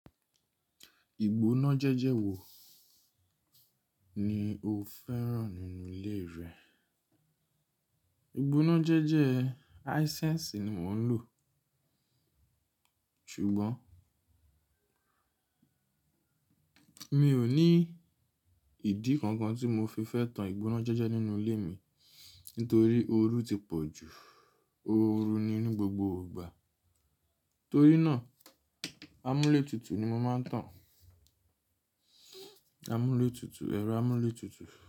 Ìgbóná jẹ́jẹ́ wo ni o fẹ́ràn nínú ilé rẹ? Ìgbóná jẹ́jẹ́ hisense ni mò ń lò. Ṣùgbọ́n mi ò ní ìdí kankan tí mo fi fẹ́ tan ìgbóná jẹ́jẹ́ nínú ilé mi. Nítorí ooru ti pọ̀ jù. Ooru ni ní gbogbo ìgbà. Torí náà, amúlétutù ni mo máa ń tan. Amúlétutù, ẹ̀rọ amúlétutù.